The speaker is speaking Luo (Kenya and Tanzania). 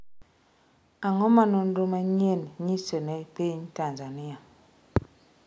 Ang’o ma nonro manyienni nyiso ne piny Tanzania?